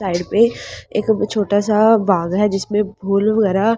side पे एक छोटा सा बाग है जिसमें फूल वगैरह--